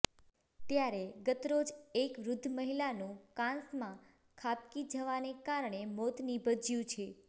ત્યારે ગતરોજ એક વૃદ્ધ મહિલા નું કાંસ માં ખાબકી જવાને કારણે મોત નીપજ્યું છે